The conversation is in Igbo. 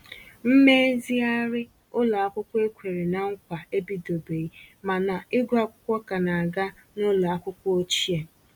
Mmezighari ụlọ akwụkwọ e kwèrè na nkwa ebidobeghi ma na ịgụ akwụkwọ ka na aga n'ụlọ akwụkwọ ochie.